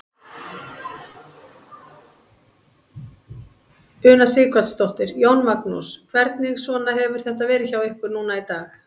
Una Sighvatsdóttir: Jón Magnús, hvernig svona hefur þetta verið hjá ykkur núna í dag?